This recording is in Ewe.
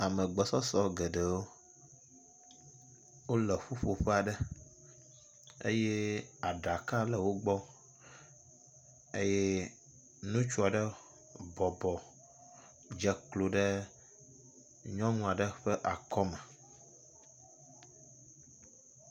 Ame gbɔsɔsɔ geɖewo wo le ƒuƒoƒe aɖe eye aɖaka le wo gbɔ eye ŋutsua ɖe bɔbɔ dze klo ɖe nyɔnu aɖe ƒe akɔme.